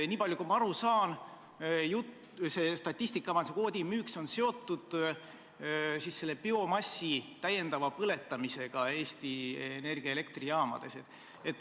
Nii palju, kui ma aru saan, on see statistikamajanduse kvoodi müük seotud biomassi täiendava põletamisega Eesti Energia elektrijaamades.